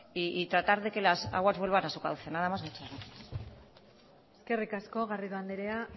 y tratar de que las aguas vuelvan a su cauce nada más y muchas gracias eskerrik asko garrido andrea